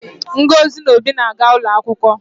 Ngozi na Obi na-aga ụlọ akwụkwọ